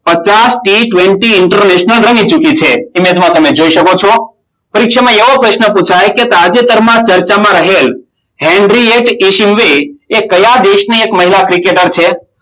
પચાસ થી twenty international રમી ચૂકી છે. ઈમેજમાં તમે જોઈ શકો છો. પરીક્ષામાં એવો પ્રશ્ન પુછાય કે, તાજેતરમાં ચર્ચામાં રહેલ હેનરી ઈશિમુએ કયા દેશની એક મહિલા ક્રિકેટર છે?